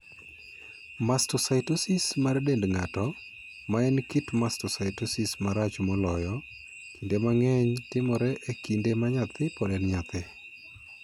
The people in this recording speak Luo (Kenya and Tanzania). Mastocytosis mar dend ng'ato, ma en kit mastocytosis marach moloyo, kinde mang'eny timore e kinde ma nyathi pod en nyathi.